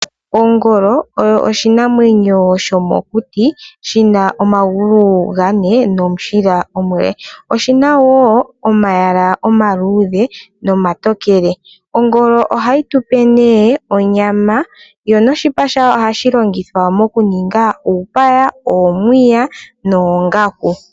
Ongolo oyo oshinamwenyo shomokuti shina omagulu gane nomushila omule. Oshina woo omayala omaluudhe nomatokele .Ongolo ohayi tupe nee onyama yo noshipa shayo ohashi longithwa nee mokuninga uupaya, omiya, noongaku.